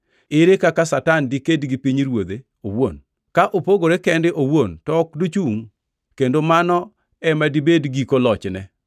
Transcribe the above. Ere kaka Satan diked gi pinyruodhe owuon, ka opogore kende owuon to ok dochungʼ, kendo mano ema dibed giko lochne.